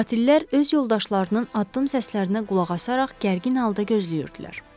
Qatillər öz yoldaşlarının addım səslərinə qulaq asaraq gərgin halda gözləyirdilər.